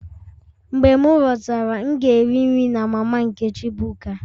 Mgbe m lọtara, m ga-eri nri na mama Nkechi buka